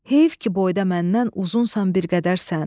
Heyf ki boyda məndən uzunsan bir qədərsən.